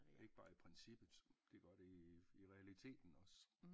Ikke bare i princippet det gør det i i realiteten også